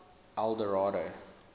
eldorado